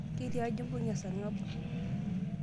Ketiaji imbung'a esarng'ab.